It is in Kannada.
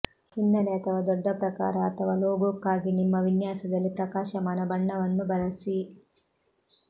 ಹಿನ್ನೆಲೆ ಅಥವಾ ದೊಡ್ಡ ಪ್ರಕಾರ ಅಥವಾ ಲೋಗೋಕ್ಕಾಗಿ ನಿಮ್ಮ ವಿನ್ಯಾಸದಲ್ಲಿ ಪ್ರಕಾಶಮಾನ ಬಣ್ಣವನ್ನು ಬಳಸಿ